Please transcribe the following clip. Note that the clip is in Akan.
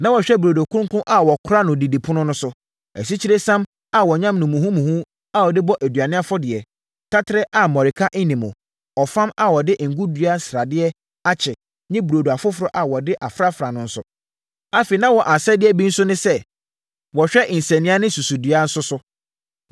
Na wɔhwɛ burodo kronkron a wɔkora no didipono so no, asikyiresiam a wɔayam no muhumuhu a wɔde bɔ aduane afɔdeɛ, taterɛ a mmɔreka nni mu, ɔfam a wɔde ngo dua sradeɛ akye ne burodo afoforɔ a wɔde afrafra no so. Afei, na wɔn asɛdeɛ bi nso ne sɛ, wɔhwɛ nsania ne susudua nso so.